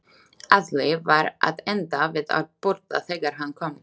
Alli var að enda við að borða þegar hann kom.